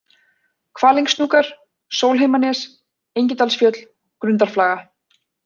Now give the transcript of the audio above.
Kvalingshnúkar, Sólheimanes, Engidalsfjöll, Grundarflaga